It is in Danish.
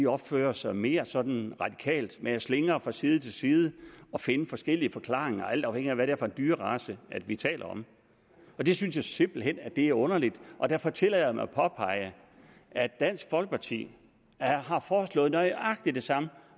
opfører sig mere sådan radikalt altså man slingrer fra side til side og finder forskellige forklaringer alt afhængigt af hvad det er for en dyrerace vi taler om og det synes jeg simpelt hen er underligt og derfor tillader jeg mig at påpege at dansk folkeparti har foreslået nøjagtig det samme